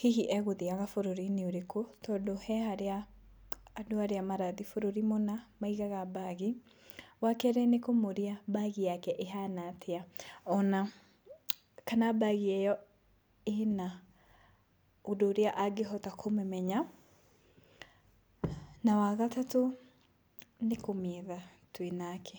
hihi egũthiaga bũrũri-inĩ ũrĩkũ, tondũ he harĩa andũ arĩa marathiĩ bũrũri mũna maigaga bag. Wakerĩ nĩ kũmũria bag yake ĩhana atĩa, ona kana bag ĩyo ĩna ũndũ ũrĩa angĩhota kũmĩmenya. Na wa gatatũ, nĩ kũmĩetha twĩ nake.